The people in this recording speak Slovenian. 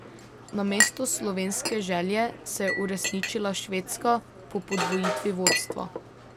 Namesto slovenske želje se je uresničila švedska po podvojitvi vodstva.